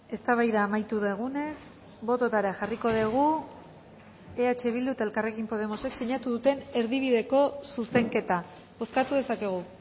eztabaida amaitu dugunez bototara jarriko dugu eh bildu eta elkarrekin podemosek sinatu duten erdibideko zuzenketa bozkatu dezakegu